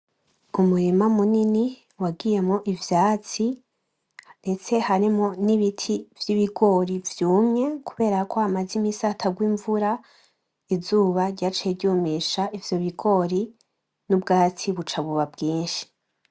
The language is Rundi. Umurima munini wagiyemwo ivyatsi ndetse harimwo n'ibiti vy'ibigori vyumye kuberako hamaze iminsi hatagwa imvura izuba ryaciye ryumisha ivyo bigori n'ubwatsi buca buba bwinshi.